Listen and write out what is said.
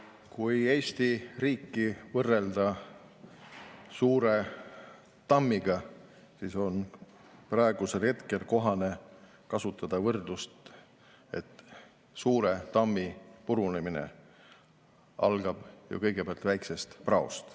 Kui Eesti riiki võrrelda suure tammiga, siis on praegusel hetkel kohane kasutada võrdlust, et suure tammi purunemine algab ju kõigepealt väikesest praost.